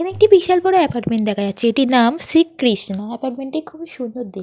এখানে একটি বিশাল বড় আপার্টমেন্ট দেখা যাচ্ছে। এটির নাম শ্রী কৃষ্ণ। আপার্টমেন্ট টি খুবই সুন্দর দেখ--